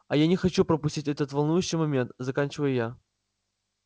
а я не хочу пропустить этот волнующий момент заканчиваю я